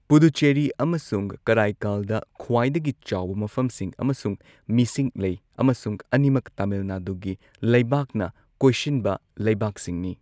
ꯄꯨꯗꯨꯆꯦꯔꯤ ꯑꯃꯁꯨꯡ ꯀꯔꯥꯢꯀꯥꯜꯗ ꯈ꯭ꯋꯥꯏꯗꯒꯤ ꯆꯥꯎꯕ ꯃꯐꯝꯁꯤꯡ ꯑꯃꯁꯨꯡ ꯃꯤꯁꯤꯡ ꯂꯩ, ꯑꯃꯁꯨꯡ ꯑꯅꯤꯃꯛ ꯇꯃꯤꯜ ꯅꯥꯗꯨꯒꯤ ꯂꯩꯕꯥꯛꯅ ꯀꯣꯏꯁꯤꯟꯕ ꯂꯩꯕꯥꯛꯁꯤꯡꯅꯤ꯫